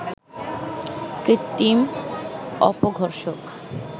কৃত্রিম অপঘর্ষক